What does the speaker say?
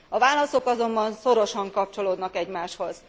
A válaszok azonban szorosan kapcsolódnak egymáshoz.